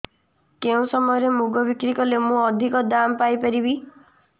କେଉଁ ସମୟରେ ମୁଗ ବିକ୍ରି କଲେ ମୁଁ ଅଧିକ ଦାମ୍ ପାଇ ପାରିବି